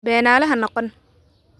Beenaale ha noqon